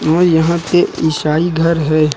और यहाँ पे ईसाई घर है।